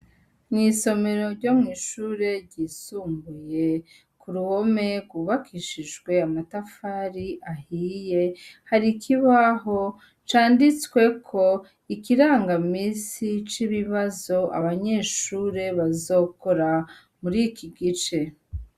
Mw'isomero ryo mw'ishure ry'isumbuye, k'uruhome rwubakishijwe amatafari ahiye, hari ikibaho canditsweko ikiranga misi c'ibibazo abanyeshure bazokora muriki gice.